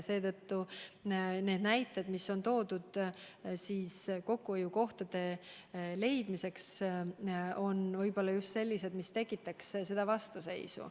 Seetõttu need näited, mis on toodud kokkuhoiukohtade leidmiseks, on võib-olla just sellised, mis tekitaks vastuseisu.